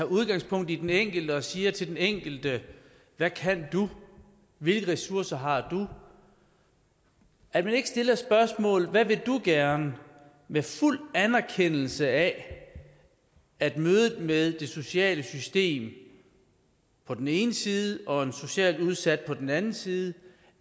udgangspunkt i den enkelte og siger til den enkelte hvad kan du hvilke ressourcer har du at man ikke stiller spørgsmålet hvad vil du gerne med fuld anerkendelse af at mødet med det sociale system på den ene side og en socialt udsat på den anden side